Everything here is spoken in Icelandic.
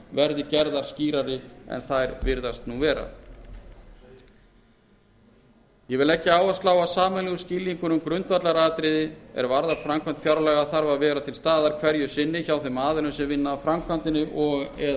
verði gerðar skýrari en þær virðast nú vera þá ber að leggja áherslu á að sameiginlegur skilningur um grundvallaratriði er varðar framkvæmd fjárlaga þarf að vera hverju sinni til staðar hjá þeim aðilum sem vinna að framkvæmdinni og